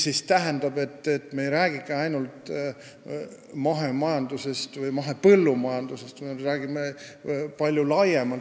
See tähendab, et me ei räägi ainult mahemajandusest või mahepõllumajandusest, vaid me räägime palju laiemalt.